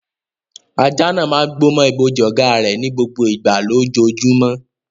Ajá náà máa ń gbó mọ́ ibojì ọ̀gá rẹ̀ ní gbogbo ìgbà lójoojúmọ́.